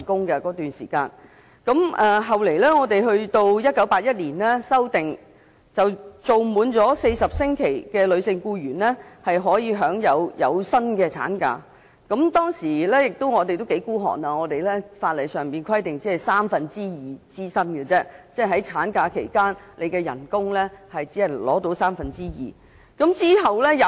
後來，《僱傭條例》在1981年進行修訂，連續受僱滿40星期的女性僱員，可享有薪產假，但當時法例規定產假只支薪三分之二，即產假期間僱員只獲支付三分之二的薪金。